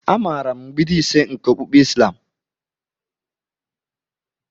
Amaara m mgbidi ise nke okpukpe islam.